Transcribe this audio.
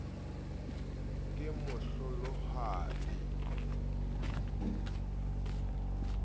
kemohlolohadi a ke ke a